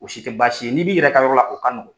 U si tɛ baasi ye n'i b'i yɛrɛ ka yɔrɔ la o ka nɔgɔn.